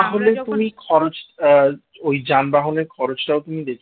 আহ ওই যানবাহনের খরচ তাও তুমি দেখে নিও